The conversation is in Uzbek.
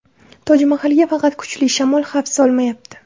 Toj Mahalga faqat kuchli shamol xavf solmayapti.